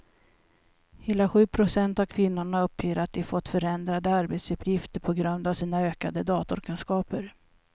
Hela sju procent av kvinnorna uppger att de fått förändrade arbetsuppgifter på grund av sina ökade datorkunskaper.